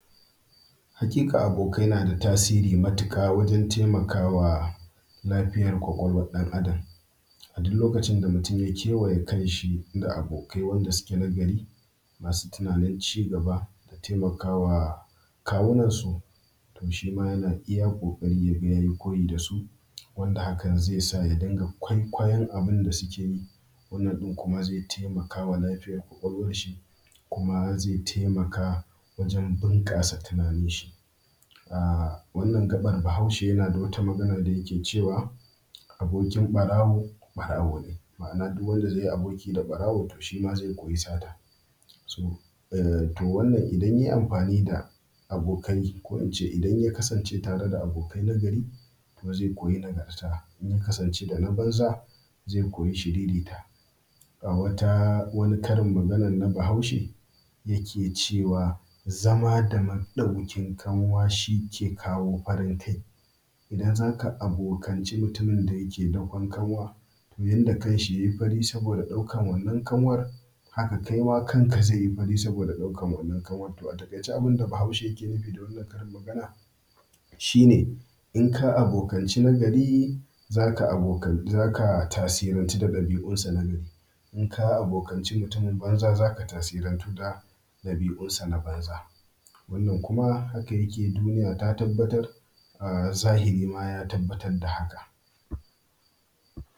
Haƙiƙa abokai na da tasiri matuƙa wajen taimakawa lafiyar ƙwaƙwalwan ɗan Adam. A duk lokacin da mutum ya kewaye kan shi da abokai, wanda suke nagari masu tunanin cigaba, taimakawa kawunansu, to, shima yana iya ƙoƙari ya yi koyi da su, wanda hakan zai sa ya dinga kwaikwayon abun da suke yi. Wannan ɗin kuma zai taimakawa lafiyar ƙwaƙwalwan shi, kuma zai taimaka wajen bunƙasa tunanin shi. A wannan gaɓar bahaushe yana da wata magana da yake cewa abokin ɓarawo, ɓarawo ne. Ma’ana, duk wanda zai yi aboki da ɓarawo to shi ma zai koyi sata. To wannan idan yai amfani da abokai ko, in ce idan ya kasance tare da abokai nagari to zai koyi nagarta. Inya kasance dana banza zai koyi shiririta. Ga wata wani karin maganan na bahaushe yake cewa zama da maɗaukin kanwa shi ke kawo farin kai. Idan za ka abokanci mutummin da yake dakon kanwa, yanda kan shi yai fari saboda ɗaukan wannan kanwar haka kaima kanka zai yi fari saboda ɗaukan wannan kanwan. To a taƙaice abun da bahaushe yake nufi da wannan karin magana shi ne in ka abokanci nagari za ka tasirantu da ɗabi’unsa nagari. Inka abokanci mutumin banza za ka tasirantu da ɗabi’unsa na banza. Wannan kuma haka yake duniya ta tabbatar a zahiri ma ya tabbatar da haka.